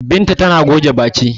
Binta tana goge baki.